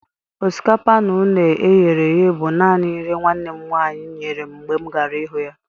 Osikapa na une eghereghe bu nanị nri nwannem nwanyị nyere m mgbe m gara ịhụ ya